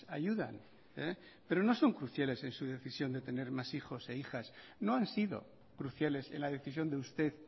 ayudan pero no son cruciales en su decisión de tener más hijos e hijas no han sido cruciales en la decisión de usted